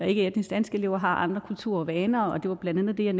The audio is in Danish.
ikke etnisk danske elever har andre kulturer og vaner og det var blandt andet det jeg